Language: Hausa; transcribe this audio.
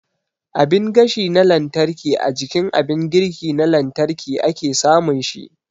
Abin gashi na lantarki a jikin abin girki na lantarki ake samun shi